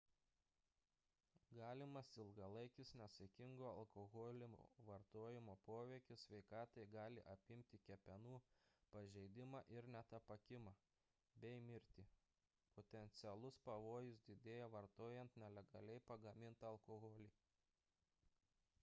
galimas ilgalaikis nesaikingo alkoholio vartojimo poveikis sveikatai gali apimti kepenų pažeidimą ir net apakimą bei mirtį potencialus pavojus didėja vartojant nelegaliai pagamintą alkoholį